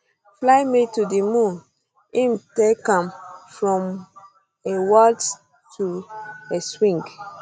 fly me to di moon im take am um from a waltz to a um swing